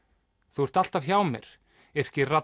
þú ert alltaf hjá mér